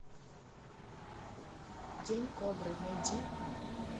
день кобры найди